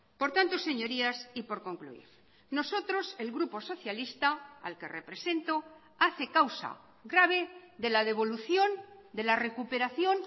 por tanto señorías y por concluir nosotros el grupo socialista al que represento hace causa grave de la devolución de la recuperación